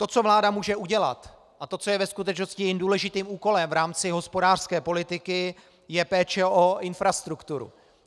To, co vláda může udělat, a to, co je ve skutečnosti jejím důležitým úkolem v rámci hospodářské politiky, je péče o infrastrukturu.